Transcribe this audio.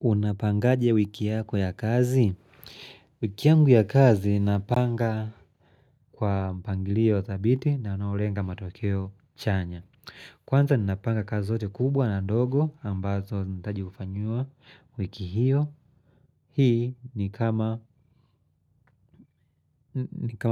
Unapangaje wiki yako ya kazi? Wiki yangu ya kazi napanga kwa mpangilio dhabiti na unaolenga matokeo chanya. Kwanza ninapanga kazi zote kubwa na dogo ambazo zinaitaji kufanyiwa wiki hiyo. Hii ni kama